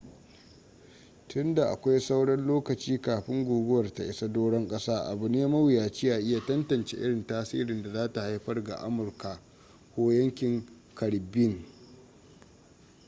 tun da akwai sauran lokaci kafin guguwar ta isa doron ƙasa abu ne mawuyaci a iya tantance irin tasirin da za ta haifar ga amurka ko yankin caribbean